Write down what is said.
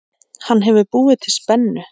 Hann hefur búið til spennu.